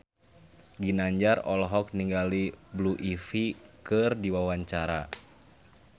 Ginanjar olohok ningali Blue Ivy keur diwawancara